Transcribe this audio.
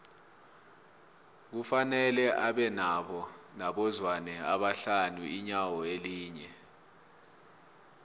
kufanele abe nabo zwane abahlanu inyawo linye